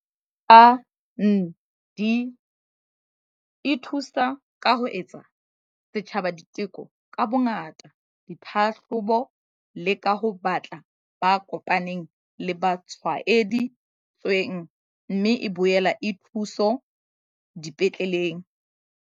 SANDF e thusa ka ho etsa setjhaba diteko ka bongata, ditlhahlobo le ka ho batla ba kopaneng le ba tshwaedi tsweng, mme e boela e thuso dipetleleng.